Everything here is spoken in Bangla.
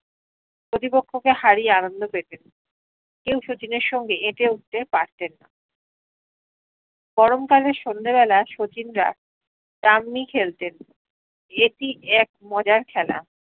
প্রতিপক্ষকে হারিয়ে আনন্দ পেতেন কেও শচীনের সঙ্গে এটে উঠতে পারতেন না গরম কালের সন্ধ্যে বেলা শচীন রা ডাম্মি খেলতেন এপি এপ মজার খেলা